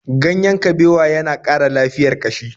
Ganyen kabewa ya na ƙara lafiyar ƙashi.